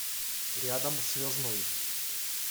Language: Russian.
рядом связной